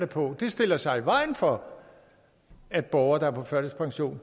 på stiller sig i vejen for at borgere på førtidspension